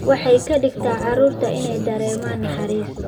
Waxay ka dhigtaa carruurta inay dareemaan naxariis.